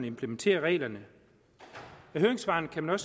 implementerer reglerne af høringssvarene kan man